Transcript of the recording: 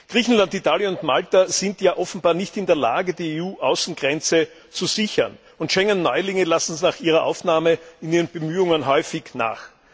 Griechenland, Italien und Malta sind ja offenbar nicht in der Lage, die EU Außengrenze zu sichern, und Schengen Neulinge lassen nach ihrer Aufnahme in ihren Bemühungen häufig nach.